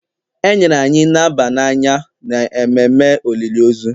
e nyere anyị naba n'anya n’ememme olili ozu